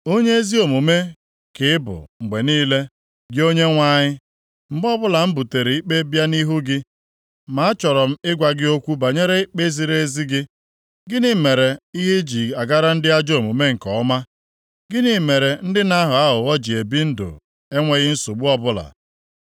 Onye ezi omume ka ị bụ mgbe niile, gị Onyenwe anyị, mgbe ọbụla m butere ikpe bịa nʼihu gị. Ma achọrọ m ịgwa gị okwu banyere ikpe ziri ezi gị: Gịnị mere ihe ji agara ndị ajọ omume nke ọma? Gịnị mere ndị na-aghọ aghụghọ ji ebi ndụ enweghị nsogbu ọbụla?